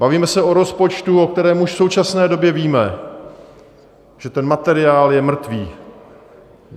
Bavíme se o rozpočtu, o kterém už v současné době víme, že ten materiál je mrtvý.